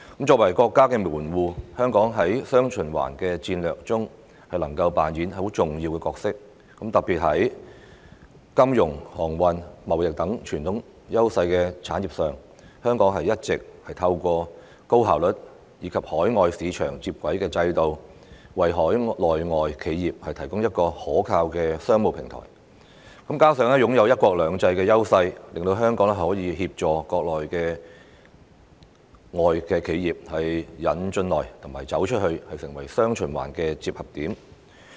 作為國家的門戶，香港在"雙循環"戰略中能夠扮演重要角色，特別是在金融、航運、貿易等傳統優勢產業上，一直透過高效率及與海外市場接軌的制度，為海內外企業提供一個可靠的商務平台；加上擁有"一國兩制"的優勢，令香港可以協助國內外企業"引進來"和"走出去"，成為"雙循環"的接合點。